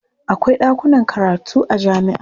Akwai ɗakunan karatu a jami'a.